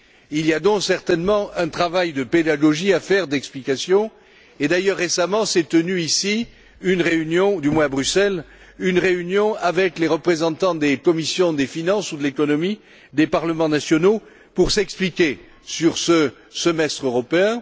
Il y a donc, certainement, un travail de pédagogie à mener, d'explication et, d'ailleurs récemment, il s'est tenu une réunion à Bruxelles, avec les représentants des commissions des finances ou de l'économie des parlements nationaux pour s'expliquer sur ce semestre européen.